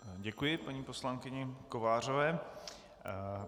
Děkuji paní poslankyni Kovářové.